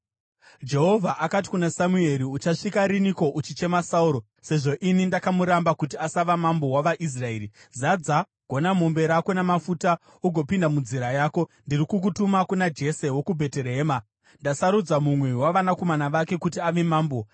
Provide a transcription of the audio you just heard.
Jehovha akati kuna Samueri, “Uchasvika riniko uchichema Sauro, sezvo ini ndakamuramba kuti asava mambo wavaIsraeri? Zadza gonamombe rako namafuta ugopinda munzira yako; ndiri kukutuma kuna Jese wokuBheterehema. Ndasarudza mumwe wavanakomana vake kuti ave mambo.”